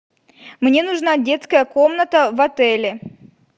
мне нужна детская комната в отеле